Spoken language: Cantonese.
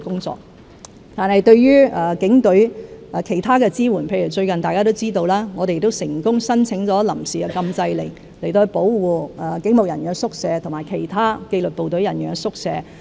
至於其他對警隊的支援，例如大家都知道，最近我們已成功申請臨時禁制令，保護警務人員宿舍和其他紀律部隊人員宿舍。